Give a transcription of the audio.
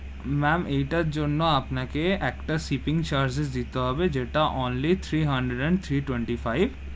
Ma'am এইটার জন্য আপনাকে একটা shipping charges দিতে হবে, যেটা only three hundred and three twenty-five,